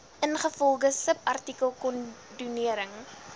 ingevolge subartikel kondonering